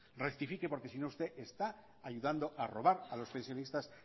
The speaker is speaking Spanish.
rectifique porque sino usted está ayudando a robar a los pensionistas